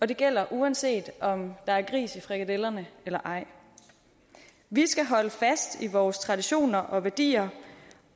det gælder uanset om der er gris i frikadellerne eller ej vi skal holde fast i vores traditioner og værdier